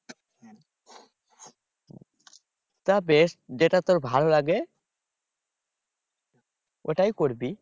তা বেশ যেটা তোর ভালো লাগে ওটাই করবি